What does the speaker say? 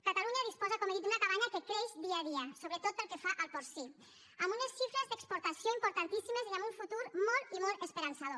catalunya disposa com he dit d’una cabanya que creix dia a dia sobretot pel que fa al porcí amb unes xifres d’exportació importantíssimes i amb un futur molt i molt esperançador